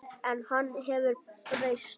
En hann hefur breyst.